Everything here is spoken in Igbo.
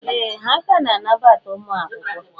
Ee! Ha ka na-anabata ụmụ akwụkwọ.